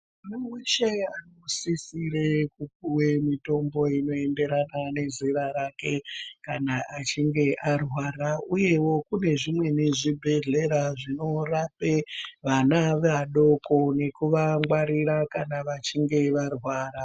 Muntu weshe unisisire kupuwe mutombo unoenderana nezera rake kana achinge arwara uyewo kune zvimweni zvibhedhleya zvinorape vana vadoko nekuvangwarira kana vachinge varwara.